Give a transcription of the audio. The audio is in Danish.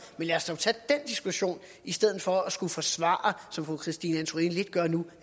men lad os dog tage den diskussion i stedet for at forsvare som fru christine antorini lidt gør nu